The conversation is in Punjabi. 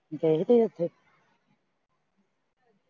ਗਏ ਤੁਸੀਂ ਇੱਥੇ